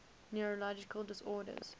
neurological disorders